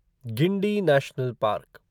Guindy national park